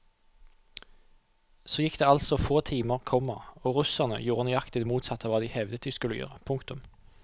Så gikk det altså få timer, komma og russerne gjorde nøyaktig det motsatte av hva de hevdet de skulle gjøre. punktum